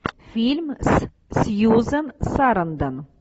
фильм с сьюзан сарандон